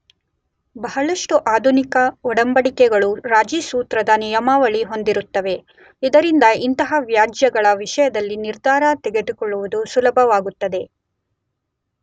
ಬಹಳಷ್ಟು ಆಧುನಿಕ ಒಡಂಬಡಿಕೆಗಳು ರಾಜಿ ಸೂತ್ರದ ನಿಯಮಾವಳಿ ಹೊಂದಿರುತ್ತವೆ.ಇದರಿಂದ ಇಂತಹ ವ್ಯಾಜ್ಯಗಳ ವಿಷಯದಲ್ಲಿ ನಿರ್ಧಾರ ತೆಗೆದುಕೊಳ್ಳುವುದು ಸುಲಭವಾಗುತ್ತದೆ.